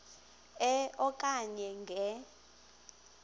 e okanye nge